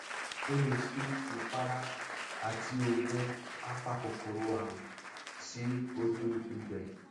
o lè fi ìpara àti oògùn apakòkòrò àrùn sí ojú ibẹ